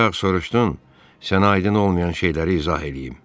Bayaq soruşdun, sənə aydın olmayan şeyləri izah eləyim.